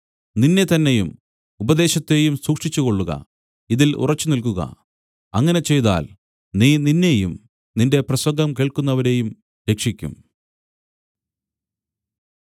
നിന്നെത്തന്നെയും ഉപദേശത്തെയും സൂക്ഷിച്ചുകൊള്ളുക ഇതിൽ ഉറച്ചുനിൽക്കുക അങ്ങനെ ചെയ്താൽ നീ നിന്നെയും നിന്റെ പ്രസംഗം കേൾക്കുന്നവരെയും രക്ഷിക്കും